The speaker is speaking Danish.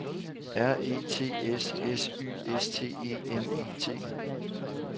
R E T S S Y S T E M E T